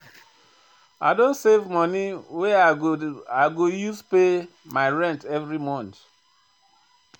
I don dey save moni wey I go use pay my rent every month.